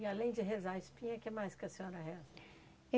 E além de rezar a espinha, o que mais que a senhora reza?